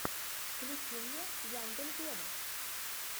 включи мне яндель вево